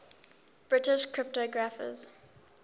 british cryptographers